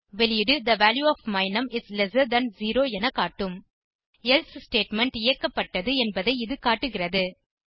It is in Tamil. வெளியீடு the value of my num is lesser than 0 என காட்டும் எல்சே ஸ்டேட்மெண்ட் இயக்கப்பட்டது என்பதை இது காட்டுகிறது